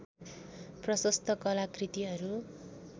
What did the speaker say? प्रशस्त कलाकृतिहरू